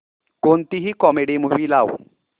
कोणतीही comedy movie लाव